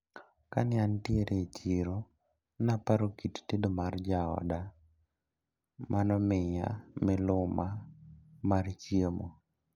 Kane antiere e chiro naparo kit tedo mar jaoda manomiya miluma mar chiemo.